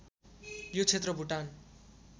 यो क्षेत्र भुटान